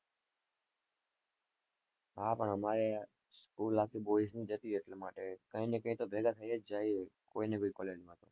હા પણ અમારે school આખી boys ની હતી એટલા માટે કોઈ ને કોઈ ભેગા થયી જ જાય કોઈ ને બીં college માં